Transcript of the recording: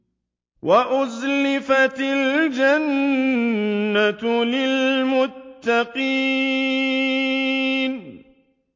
وَأُزْلِفَتِ الْجَنَّةُ لِلْمُتَّقِينَ